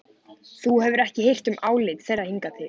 Þú hefur ekki hirt um álit þeirra hingað til.